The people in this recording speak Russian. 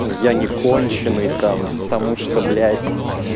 я не конченый там потому что блять